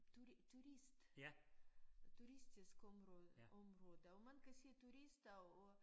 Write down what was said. Turist turistisk område område og man kan se turister og